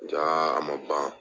Jaa a ma ban .